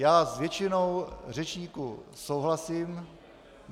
Já s většinou řečníků souhlasím.